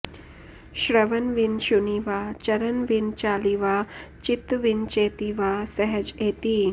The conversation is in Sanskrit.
श्रवन् विन शुणिवा चरण विन चालिवा चित्त विन चेतिवा सहज एति